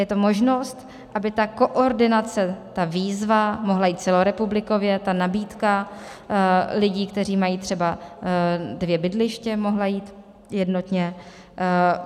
Je to možnost, aby ta koordinace, ta výzva mohla jít celorepublikově, ta nabídka lidí, kteří mají třeba dvě bydliště, mohla jít jednotně.